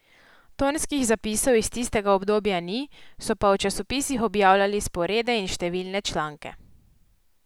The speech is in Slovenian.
Tonskih zapisov iz tistega obdobja ni, so pa v časopisih objavljali sporede in številne članke.